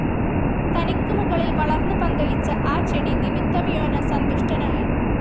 തനിക്ക് മുകളിൽ വളർന്ന് പന്തലിച്ച ആ ചെടി നിമിത്തം യോന സന്തുഷ്ടനായി